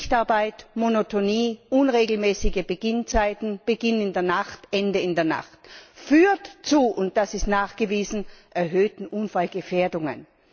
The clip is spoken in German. Schichtarbeit, Monotonie, unregelmäßige Beginnzeiten, Beginn in der Nacht, Ende in der Nacht führen zu und das ist nachgewiesen erhöhten Unfallgefährdungen!